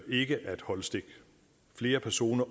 ikke at holde stik flere personer